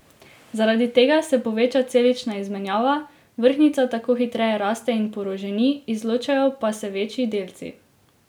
Zaradi tega se poveča celična izmenjava, vrhnjica tako hitreje raste in poroženi, izločajo pa se večji delci.